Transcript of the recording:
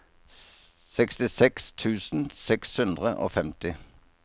sekstiseks tusen seks hundre og femti